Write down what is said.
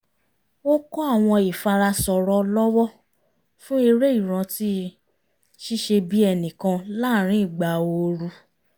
ó kọ́ àwọn ìfara sọ̀rọ̀ ọlọ́wọ́ fún eré ìrántí ṣíṣe-bí-ẹnìkan láàrin ìgbà ooru